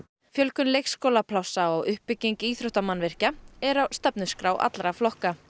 fjölgun leikskólaplássa og uppbygging íþróttamannvirkja eru á stefnuskrá allra flokka